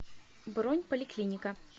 бронь поликлиника